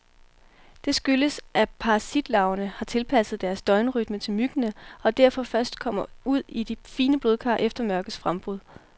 Det skyldes, at parasitlarverne har tilpasset deres døgnrytme til myggene, og derfor først kommer ud i de fine blodkar efter mørkets frembrud.